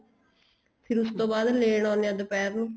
ਉਸ ਤੋਂ ਬਾਅਦ ਲੈਣ ਆਉਦੇ ਏ ਦੁਪਿਹਰ ਨੂੰ